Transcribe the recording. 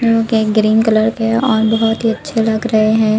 Pink and green colour के और बहोत ही अच्छे लग रहे हैं।